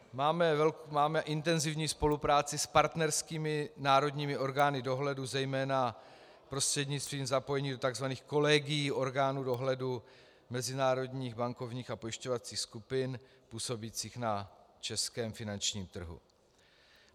Máme intenzivní spolupráci s partnerskými národními orgány dohledu zejména prostřednictvím zapojení do tzv. kolegií orgánů dohledu mezinárodních bankovních a pojišťovacích skupin působících na českém finančním trhu.